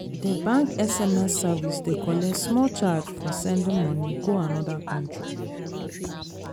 d bank sms service dey collect small charge for sending moni go another another country.